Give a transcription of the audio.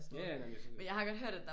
Ja ja men jeg synes heller ikke